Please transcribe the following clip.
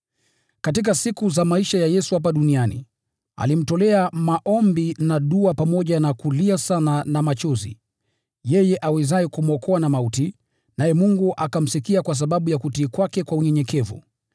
Katika siku za maisha ya Yesu hapa duniani, alimtolea maombi na dua pamoja na kulia sana na machozi, yeye awezaye kumwokoa na mauti, naye Mungu akamsikia kwa sababu ya kutii kwake kwa unyenyekevu.